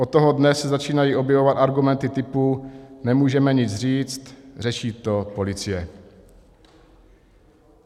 Od toho dne se začínají objevovat argumenty typu: Nemůžeme nic říct, řeší to policie.